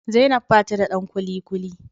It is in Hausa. zainab ba ta don kulikuli